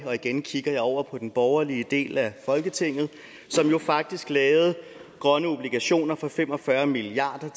og igen kigger jeg over på den borgerlige del af folketinget som jo faktisk lavede grønne obligationer for fem og fyrre milliard